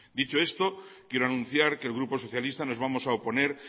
dicho esto quiero anunciar que el grupo socialista nos vamos a oponer